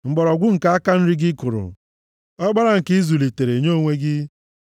mgbọrọgwụ nke aka nri gị kụrụ, ọkpara nke ị zụlitere nye onwe gị.